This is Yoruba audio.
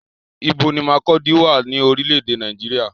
Ibo ni Markurdi wà ní orílé èdè Nàìjíríà?